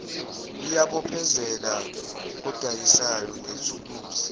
iyabophezela kodayisayo ngethuluzi